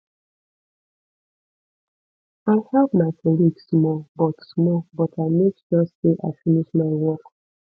i help my colleague small but small but i make sure sey i finish my work